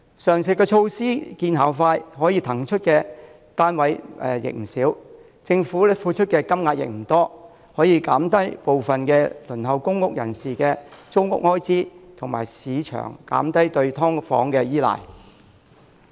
上述措施見效快，可騰出不少單位，政府付出的金錢也不多，既能降低部分輪候公屋人士的租屋開支，亦能減輕市場對"劏房"的依賴。